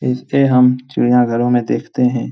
इसे हम चिड़िया घरों मे देखते है।